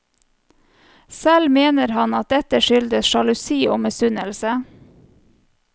Selv mener han at dette skyldtes sjalusi og misunnelse.